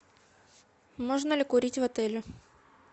можно ли курить в отеле